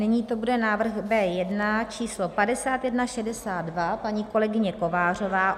Nyní to bude návrh B1, číslo 5162, paní kolegyně Kovářová.